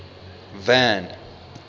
van